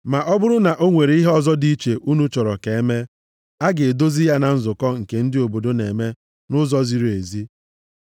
Ma ọ bụrụ na o nwere ihe ọzọ dị iche unu chọrọ ka e mee, a ga-edozi ya na nzukọ nke ndị obodo na-eme nʼụzọ ziri ezi.